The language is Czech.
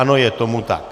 Ano, je tomu tak.